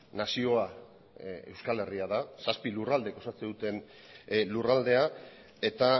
nazioa euskal herria da zazpi lurraldek osatzen duten lurraldea eta